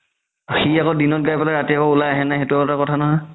সি আকৌ দিনত গাই পেলাই ৰাতি আকৌ উলাই আহে নে নাই সেইটো এটা কথা নহয়